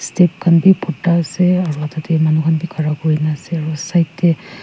step khanbi bhurda ase aro date manu khan bi khara kurikena ase aro side tey.